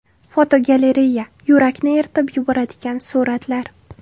Fotogalereya: Yurakni eritib yuboradigan suratlar.